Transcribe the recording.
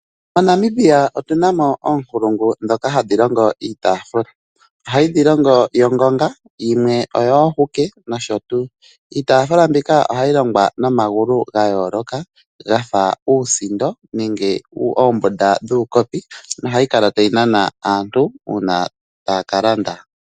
MoNamibia otuna mo oonkulungu dhoka hadhi longo iitafuula. Ohayi dhi longo yongonga yimwe oyoohuke nosho tuu. Iitafuula mbika ohayi longwa nomagulu ga yooloka gafa uusindo nenge oombunda dhuukopi, nohayi kala tayi nana aantu uuna taya ka landa.